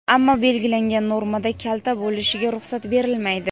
ammo belgilangan normadan kalta bo‘lishiga ruxsat berilmaydi;.